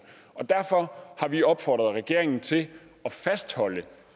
derfor har vi opfordret regeringen til at fastholde